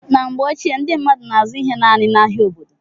Na mgbe ochie, ndị mmadụ na-azụ ihe naanị n'ahia obodo.